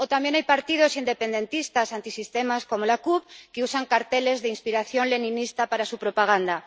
O también hay partidos independentistas antisistema, como la CUP, que usan carteles de inspiración leninista para su propaganda.